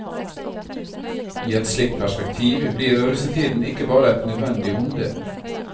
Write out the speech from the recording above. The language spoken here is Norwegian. I et slikt perspektiv blir russetiden ikke bare et nødvendig onde.